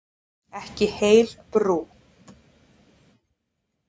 Ekki heil brú.